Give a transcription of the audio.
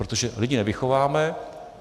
Protože lidi nevychováme.